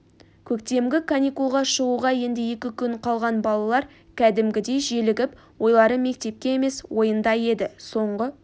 көктемгі каникулға шығуға енді екі күн қалған балалар кәдімгідей желігіп ойлары мектепте емес ойында еді соңғы